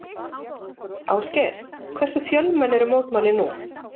Ásgeir, hversu fjölmenn eru mótmælin nú?